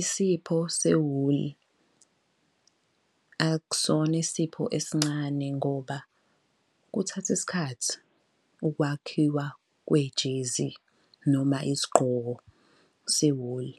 Isipho sewuli akusona isipho esincane ngoba kuthatha isikhathi ukwakhiwa kwejezi noma isigqoko sewuli.